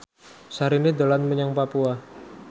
Syahrini dolan menyang Papua